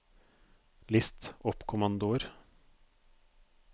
list oppkommandoer